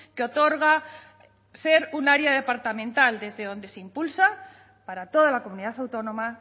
que otorga ser un área departamental desde donde se impulsa para toda la comunidad autónoma